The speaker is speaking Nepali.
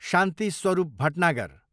शान्ति स्वरूप भटनागर